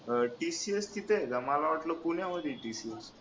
अह TCS तिथ आहे का मला वाटलं पुण्यामध्ये आहे TCS